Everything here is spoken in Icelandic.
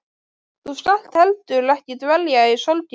Þú skalt heldur ekki dvelja í sorginni.